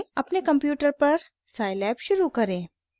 अपने कंप्यूटर पर scilab शुरू करें